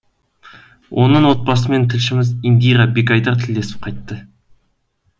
оның отбасымен тілшіміз индира бегайдар тілдесіп қайтты